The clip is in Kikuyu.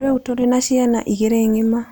Rĩu tũrĩ na ciana igĩrĩ ng'ima.